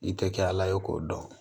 I tɛ kɛ ala ye k'o dɔn